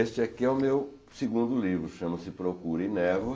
Este aqui é o meu segundo livro, chama-se Procura e Névoa.